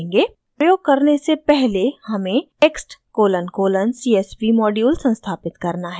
प्रयोग करने से पहले हमें text colon colon csv module संस्थापित करना है